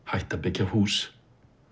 hætta að byggja hús